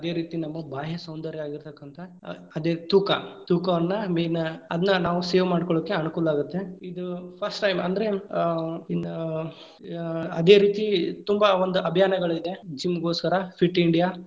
ಅದೇ ರೀತಿ ನಮ್ಮ ಬಾಹ್ಯ ಸೌಂದರ್ಯ ಆಗಿರತಕ್ಕಂತಹ ಆ ಅದೇ ತೂಕ ತೂಕವನ್ನ main ಅದನ್ನ ನಾವು save ಮಾಡ್ಕೊಳ್ಳಿಕ್ಕೆ ಅನುಕೂಲ ಆಗುತ್ತೆ. ಇದು first time ಅಂದ್ರೆ ಆ ಇನ್ನ್‌~ ಅ ಅದೇ ರೀತಿ ತುಂಬಾ ಒಂದ ಅಭಿಯಾನಗಳಿದೆ, gym ಗೋಸ್ಕರ fit India fit India .